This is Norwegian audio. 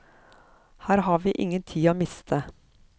Her var ingen tid å miste.